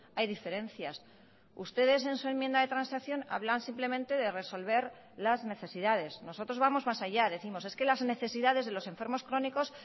hay diferencias ustedes en su enmienda de transacción hablan simplemente de resolver las necesidades nosotros vamos más allá decimos es que las necesidades de los enfermos crónicos